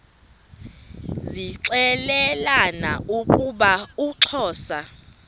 zixelelana ukuba uxhosa